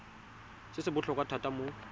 se se botlhokwa thata mo